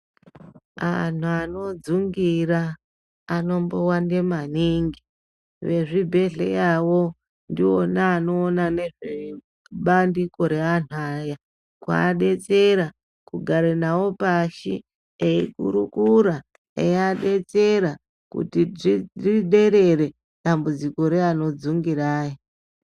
Antu anodzungira anombowande maningi vezvibhedherawo ndiwo anoona nezvebandiko reantu aya kuadetsera kura navo pashi ekurukura eivadetsera kuti zviderere dambudziko reanodzungira aya.